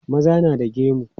Maza na da gemu.